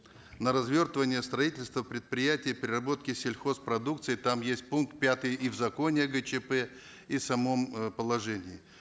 на развертывание строительства предприятий переработки сельхозпродукции там есть пункт пятый и в законе о гчп и в самом э положении